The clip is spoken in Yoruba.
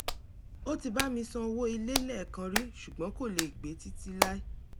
ó ti bá mi san owó ilé lẹ́ẹ̀kan rí ṣùgbọ́n kò lè gbe títí láí